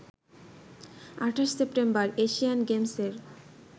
২৮ September Asian গেমসের